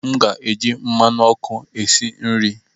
M ga-eji mmanụ ọkụ esi nri.